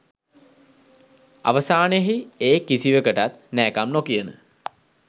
අවසානයෙහි ඒ කිසිවකටත් නෑකම් නොකියන